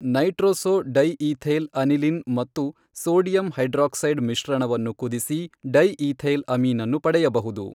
Nitroso di ethyl aniline ಮತ್ತು sodium hydroxide ಮಿಶ್ರಣವನ್ನು ಕುದಿಸಿ ಡೈಈಥೈಲ್ ಅಮೀನನ್ನು ಪಡೆಯಬಹುದು.